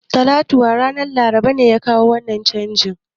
Tattaunawan ranar Laraba ne ya kawo wannan canji